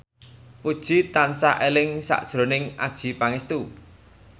Puji tansah eling sakjroning Adjie Pangestu